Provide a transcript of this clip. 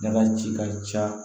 Dala ci ka ca